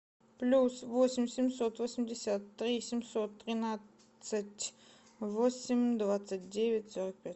плюс восемь семьсот восемьдесят три семьсот тринадцать восемь двадцать девять сорок пять